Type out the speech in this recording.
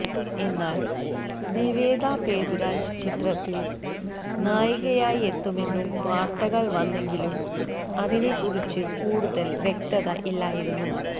എന്നാല് നിവേദ പേതുരാജ് ചിത്രത്തില് നായികയായിട്ടെത്തുമെന്നും വാര്ത്തകള് വന്നെങ്കിലും അതിനെ കുറിച്ച് കൂടുതല് വ്യക്തത ഇല്ലായിരുന്നു